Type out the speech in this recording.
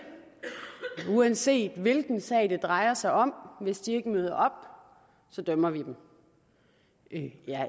uanset hvilken sag det drejer sig om hvis de ikke møder op så dømmer vi dem